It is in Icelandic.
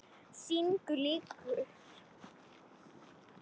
Sýningu lýkur.